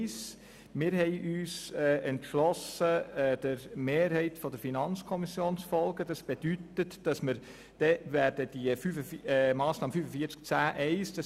Wir haben uns entschlossen, der Mehrheit der FiKo zu folgen und die Massnahme 45.10.1 abzulehnen.